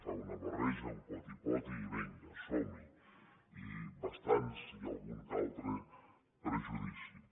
fa una barreja un potipoti i vinga somhi i bastants i algun més que un altre prejudicis